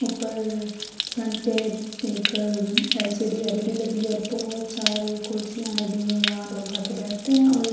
اپر front پی ایک LCD LED لگی ہوئی ہے اور بھوت سارے کرسیا لگی ہوئی ہے۔ یہاں لوگ آکر بیٹتے ہے اور--